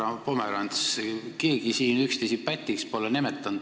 Härra Pomerants, keegi siin üksteist pätiks pole nimetanud.